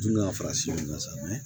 Tun ka fara sikasa